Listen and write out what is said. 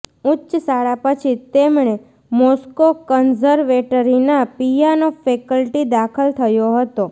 ઉચ્ચ શાળા પછી તેમણે મોસ્કો કન્ઝર્વેટરી ના પિયાનો ફેકલ્ટી દાખલ થયો હતો